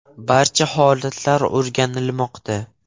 Barcha holatlar o‘rganilmoqda.